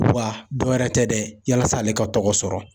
Wa dɔwɛrɛ tɛ dɛ yasa ale ka tɔgɔ sɔrɔ